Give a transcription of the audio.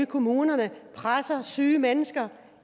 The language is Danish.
kommunerne presser syge mennesker